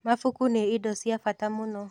Mabuku nĩ indo cia bata mũno.